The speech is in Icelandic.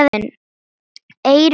Eyrun sperrt.